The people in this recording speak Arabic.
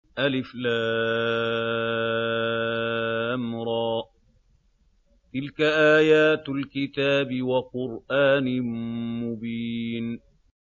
الر ۚ تِلْكَ آيَاتُ الْكِتَابِ وَقُرْآنٍ مُّبِينٍ